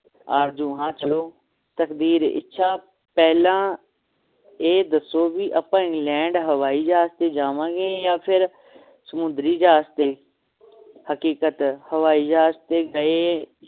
ਆਰਜ਼ੂ ਹਾਂ ਚਲੋ ਤਕਦੀਰ ਇੱਛਾ ਪਹਿਲਾਂ ਇਹ ਦਸੋ ਅੱਪਾਂ ਇੰਗਲੈਂਡ ਹਵਾਈ ਜਹਾਜ ਤੇ ਜਾਵਾਂਗੇ ਆ ਫੇਰ ਸਮੁੰਦਰੀ ਜਹਾਜ ਤੇ ਹਕੀਕਤ ਹਵਾਈ ਜਹਾਜ ਤੇ ਗਏ